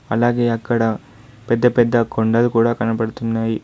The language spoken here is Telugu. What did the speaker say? అలాగే అక్కడ పెద్ద పెద్ద కొండలు కూడా కనపడుతున్నాయి.